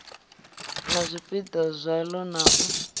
na zwipiḓa zwaḽo na u